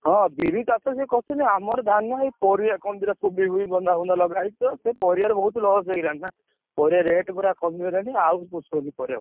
ହଁ, ବିରି ଚାଷ ଯେ କରୁଛନ୍ତି। ଆମର ଧାନ ହଇ ପରିବା କଣ ଦିଟା କୋବି ଫୋବି ବନ୍ଧା ଫନ୍ଦା ଲଗାହେଇଛି ତ ସେ ପରିବାରେ ବହୁତ୍ loss ହେଇଗଲାଣି। ପରିବା rate ପୁରା କମି ଗଲାଣି, ଆଉ ପୋଷୋଉନି ପାରିବା।